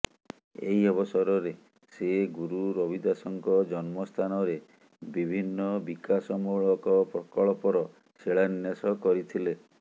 ଏହି ଅବସରରେ ସେ ଗୁରୁ ରବିଦାସଙ୍କ ଜନ୍ମସ୍ଥାନରେ ବିଭିନ୍ନ ବିକାଶମୂଳକ ପ୍ରକଳ୍ପର ଶିଳାନ୍ୟାସ କରିଥିଲେ